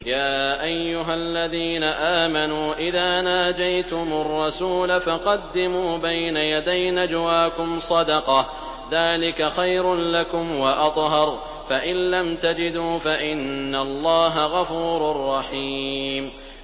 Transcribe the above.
يَا أَيُّهَا الَّذِينَ آمَنُوا إِذَا نَاجَيْتُمُ الرَّسُولَ فَقَدِّمُوا بَيْنَ يَدَيْ نَجْوَاكُمْ صَدَقَةً ۚ ذَٰلِكَ خَيْرٌ لَّكُمْ وَأَطْهَرُ ۚ فَإِن لَّمْ تَجِدُوا فَإِنَّ اللَّهَ غَفُورٌ رَّحِيمٌ